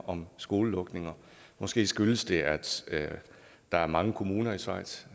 om skolelukninger måske skyldes det at der er mange kommuner i schweiz